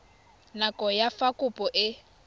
nako ya fa kopo e